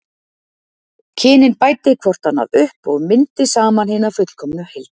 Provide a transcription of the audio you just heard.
Kynin bæti hvort annað upp og myndi saman hina fullkomnu heild.